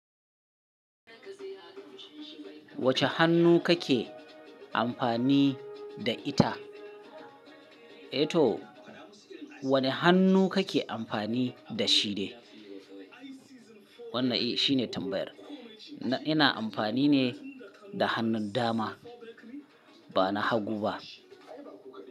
Wace hannu kake amfani da ita? Eh to, wane hannu kake amfani da shi ne? Wannan eh shine tambayar. Ina amfani ne da hannun dama ba na hagu ba.